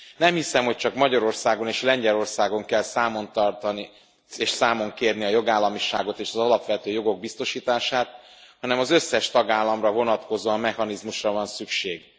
Nem hiszem, hogy csak Magyarországon és Lengyelországon kell számon kérni a jogállamiságot és az alapvető jogok biztosítását, hanem az összes tagállamra vonatkozó mechanizmusra van szükség.